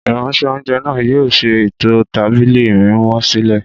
Ìránṣẹ́-oúnjẹ náà yóò ṣe ètò tábìlì mímọ́ sílẹ̀